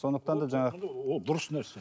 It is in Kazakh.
сондвықтан да жаңа ол дұрыс нәрсе